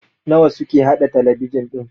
nawa suke haɗa talabijin ɗin?